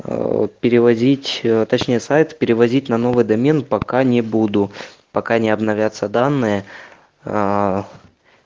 перевозить точнее сайт перевозить на новый домен пока не буду пока не обновятся данные